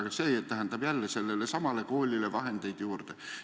Aga see tähendab jälle sellele koolile vahendeid juurde.